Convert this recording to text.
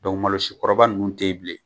Dɔnku malosi kɔrɔba ninnu te yen bilen